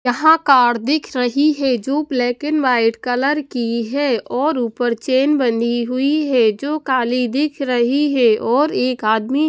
यहां कार दिख रही है जो ब्लैक एंड वाइट कलर की है और ऊपर चैन बनी हुई है जो काली दिख रही है और एक आदमी--